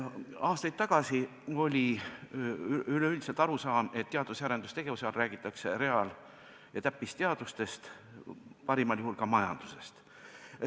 Aastaid tagasi oli üleüldine arusaam, et teadus- ja arendustegevust käsitledes räägitakse reaal- ja täppisteadustest, parimal juhul ka majandusest.